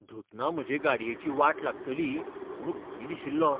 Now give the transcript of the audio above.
धुतना म्हजे गाडयेची वाट लागतली म्हूण भंय दिशिल्लो.